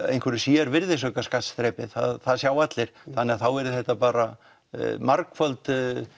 einhverju sér virðisaukaskattsþrepi það sjá allir þannig þá yrði þetta bara margföld